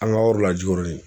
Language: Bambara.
An ka yɔrɔ la Jikɔrɔni